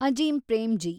Azim Premji